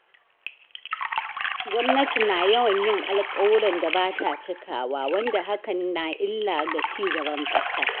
Gwamnati na yawan yin alƙawuran da ba ta cikawa, wanda hakan na illa ga cigaban ƙasa.